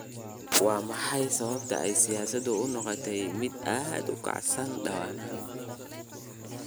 Waa maxay sababta ay siyaasaddu u noqotay mid aad u kacsan dhawaanahan?